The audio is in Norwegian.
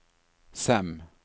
Sem